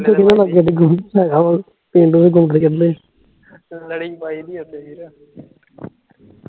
ਲੜੀ ਪਾਇਦੀ ਔਦੇ ਫਿਰ